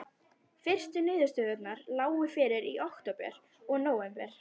Fyrstu niðurstöðurnar lágu fyrir í október og nóvember.